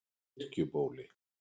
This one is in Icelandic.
Kirkjubóli